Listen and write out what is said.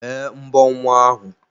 Bee mbọ nwa ahu!